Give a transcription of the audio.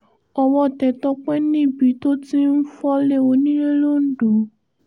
owó tẹ́ tọ́pẹ́ níbi tó ti ń fọ́lé onílé l'ondo